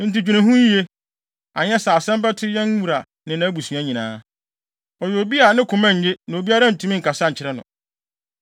Enti dwene ho yiye, anyɛ saa a asɛm bɛto yɛn wura ne nʼabusua nyinaa. Ɔyɛ obi a ne koma nye na obiara ntumi nkasa nkyerɛ no.”